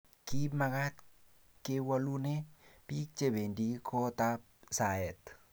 ki mekat ke wolune biik che bendi kootab saet